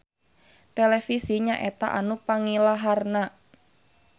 Televisi nyaeta anu pangilaharna.